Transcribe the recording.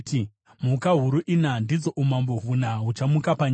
‘Mhuka huru ina ndidzo umambo huna huchamuka panyika.